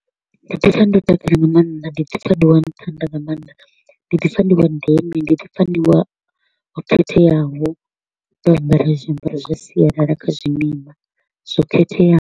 Ndi ḓi pfa ndo takala nga maanḓa, ndi ḓi pfa ndi wa nṱha nda nga maanḓa, ndi ḓi pfa ndi wa ndeme, ndi ḓi pfa ndi wa khetheaho u ambara zwiambaro zwa sialala kha zwimima zwo khetheaho.